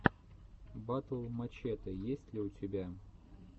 батл мачете есть ли у тебя